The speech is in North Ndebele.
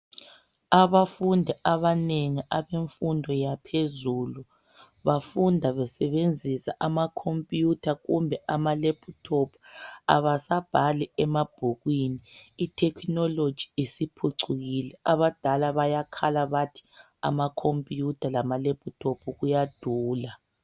Abafundi abanengi abemfundo yaphezulu bafunda besebenzisa ama computer kumbe ama laptop, abasabhali emabhukwini .I technology isiphucukile .Abadala bayakhala bathi ama computer lama lap top kuyadula